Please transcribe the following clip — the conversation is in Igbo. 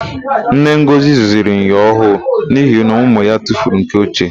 Nne Ngọzị zụziri myọ ọhụụ n'ihi na ụmụ ya tufuru nke ochie.